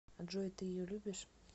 джой ты ее любишь